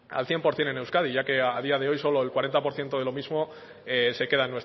al cien por ciento en euskadi ya que a día de hoy solo el cuarenta por ciento de lo mismo se queda